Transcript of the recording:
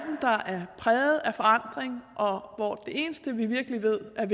præget af forandring og hvor det eneste vi virkelig ved er